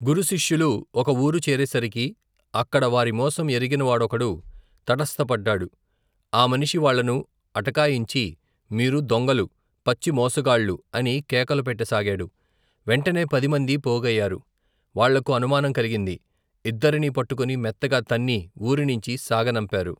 గురుశిష్యులు ఒక ఊరు చేరేసరికి, అక్కడ వారిమోసం ఎరిగినవాడొకడు, తటస్థపడ్డాడు ఆ మనిషి వాళ్లను అటకాయించి, మీరు దొంగలు పచ్చిమోసగాళ్లు, అని కేకలు పెట్టసాగాడు వెంటనే పదిమందీ పోగయ్యారు వాళ్లకు అనుమానం కలిగింది, ఇద్దరినీ పట్టుకుని మెత్తగా తన్ని ఊరినించి సాగనంపారు.